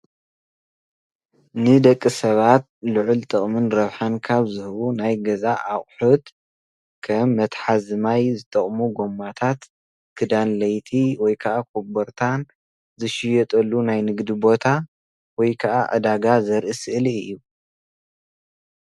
ንደቂ ሰባት ልዐሊ ጠቅሚ ረበሓን ካብ ዝህብ ናይ ገዛ አቁሕት ከም መተሐዚ ማይ ዝጠቁሙ ጎማታት ክዳን ለይቲይ ወይ ከዓ ኾቦርታ ዝሽየጠሉ ናይ ንግዲይ ቦታ ወይ ከዓ ዕዳጋ ዘሪእ ሰእሊ እዩ